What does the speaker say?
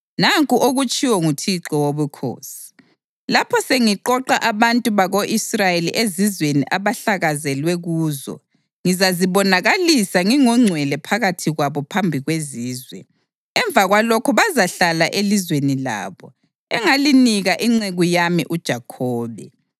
Nanku okutshiwo nguThixo Wobukhosi: Lapho sengiqoqa abantu bako-Israyeli ezizweni ababehlakazelwe kuzo, ngizazibonakalisa ngingongcwele phakathi kwabo phambi kwezizwe. Emva kwalokho bazahlala elizweni labo, engalinika inceku yami uJakhobe.